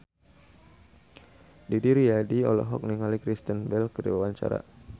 Didi Riyadi olohok ningali Kristen Bell keur diwawancara